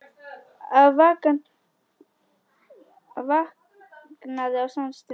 Afi vaknaði á samri stundu.